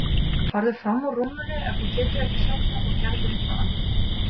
Farðu fram úr rúminu ef þú getur ekki sofnað og gerðu eitthvað annað.